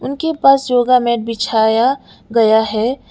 उनके पास yoga mat बिछाया गया है।